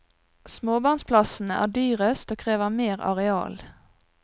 Småbarnsplassene er dyrest og krever mer areal.